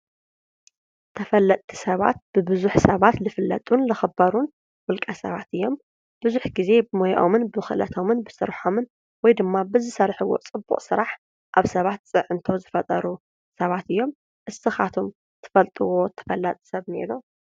ተፈለጥቲ ሰባት ብቡዙሕ ሰባት ልፍለጡን ዝኽበሩ ውለቀ ሰባት እዮም። ቡዙሕ ግዜ ብሞየኦምን ብኽእለቶምን ብስረሖምን ወይ ድማ ብዝሰርሕዎ ፅቡቅ ስራሕ ኣብ ሰባት ፅዕንቶ ዝፈጠሩ ሰባት እዮም። ንስኻትኩም እትፈልጥዎ ተፈላጢ ሰብ እንአ ዶ?